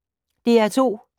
DR P2